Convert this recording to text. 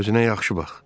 Özünə yaxşı bax.